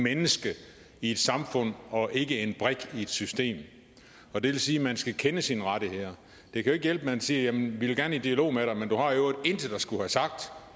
menneske i et samfund og ikke som en brik i et system det vil sige at man skal kende sine rettigheder det kan ikke hjælpe man siger vi vil gerne i dialog med dig men du har i øvrigt intet at skulle have sagt